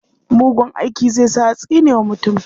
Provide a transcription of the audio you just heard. Mugun aiki zai sa a tsine wa mutum.